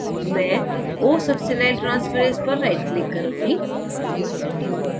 मैं osuccinyltransferase पर right click करूँगी